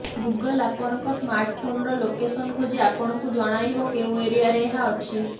Google ଆପଣଙ୍କ smart ଫୋନର location ଖୋଜି ଆପଣଙ୍କୁ ଜଣାଇବ କେଉଁ ଏରିୟାରେ ଏହା ଅଛି